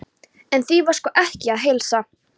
En því var sko ekki að heilsa.